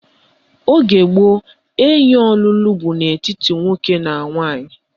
Oge gboo, enyi ọlụlụ bụ n'etiti nwoke na nwaanyị